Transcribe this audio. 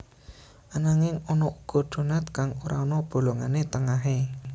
Ananging ana uga donat kang ora ana bolongané tengahé